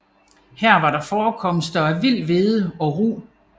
Her var der forekomster af vild hvede og rug